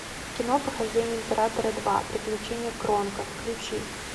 кино похождения императора два приключения кронка включи